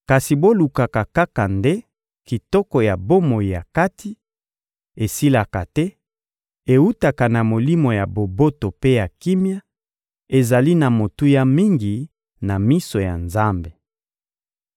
kasi bolukaka nde kitoko ya bomoto ya kati: esilaka te, ewutaka na molimo ya boboto mpe ya kimia, ezali na motuya mingi na miso ya Nzambe.